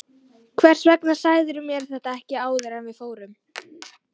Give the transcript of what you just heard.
Hvers vegna sagðirðu mér þetta ekki áður en við fórum?